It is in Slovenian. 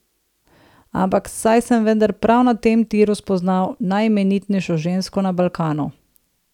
Ampak, saj sem vendar prav na tem tiru spoznal najimenitnejšo žensko na Balkanu.